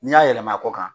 N'i y'a yɛlɛma kɔ kan